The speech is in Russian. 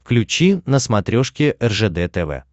включи на смотрешке ржд тв